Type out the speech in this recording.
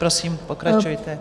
Prosím, pokračujte.